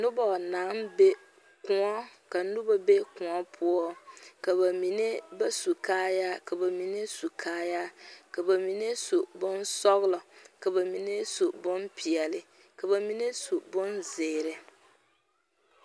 Koɔ ka noba be koɔ poɔ ka ba mine ba su kaayaa ka ba mine su kaayaa ka ba mine su bonsɔglɔ ka ba mine su bonpɛɛle ka ba mine su bonzeɛre.